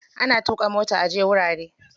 Ana tuƙa mota aje wurare.